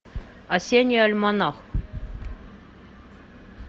осенний альманах